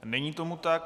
Není tomu tak.